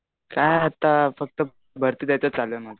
काय आता भरतीसाठी चालू आहे माझं.